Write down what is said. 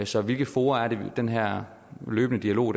så hvilke fora er det den her løbende dialog